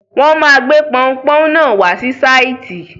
Wọ́n máa gbé pọunpọ́ún náà wá sí sáìtì.